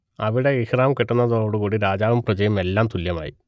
അവിടെ ഇഹ്റാം കെട്ടുന്നതോടു കൂടീ രാജാവും പ്രജയും എല്ലാം തുല്യമായി